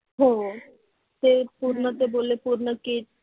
हो ते पूर्ण ते बोलले पूर्ण किट